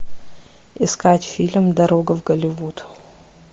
искать фильм дорога в голливуд